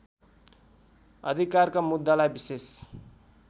अधिकारका मुद्दालाई विशेष